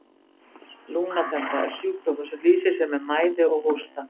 lungnaþemba er sjúkdómur sem lýsir sér með mæði og hósta